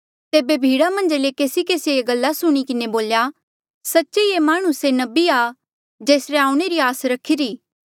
तेबे भीड़ा मन्झा ले केसी केसिए ये गल्ला सुणी किन्हें बोल्या सच्चे ये माह्णुं ही से नबिया कि जेसरे आऊणें रा आस रखिरी